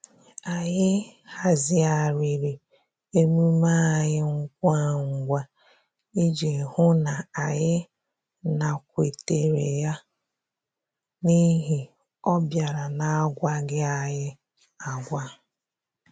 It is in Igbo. Anyị hazigharịrị emume anyị ngwa ngwa iji hụ n'anyị nakwetere ya n'ihi ọ bịara na-agwaghị anyị agwa